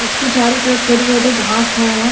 इसके चारों तरफ छोटे छोटे घास है।